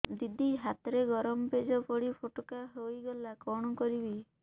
ଦିଦି ହାତରେ ଗରମ ପେଜ ପଡି ଫୋଟକା ହୋଇଗଲା କଣ କରିବି